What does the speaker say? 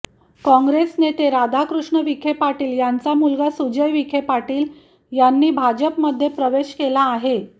काँग्रेस नेते राधाकृष्ण विखे पाटील यांचा मुलगा सुजय विखे पाटील यांनी भाजपमध्ये प्रवेश केला आहे